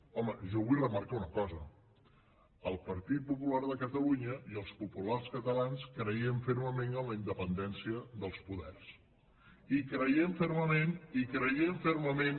home jo vull remarcar una cosa el partit popular de catalunya i els populars catalans creiem fermament en la independència dels poders i creiem fermament